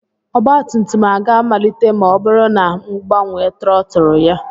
Ọgba tum tum a ga-amalite ma ọ bụrụ na m agbanwe trọtụl ya?